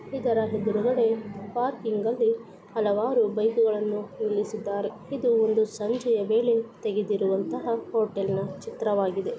ಇದರ ಎದರಗಡೆ ಪಾರ್ಕಿಂಗ್ ಅಲ್ಲಿ ಹಲವಾರು ಬೈಕ್ ಗಳನ್ನು ನಿಲ್ಲಿಸಿದ್ದಾರೆ. ಇದು ಒಂದು ಸಂಜೆಯ ಮೇಲೆ ತೆಗೆದಿರುವಂತಹ ಹೋಟೆಲ್ ಚಿತ್ರವಾಗಿದೆ.